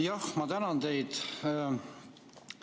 Jah, ma tänan teid!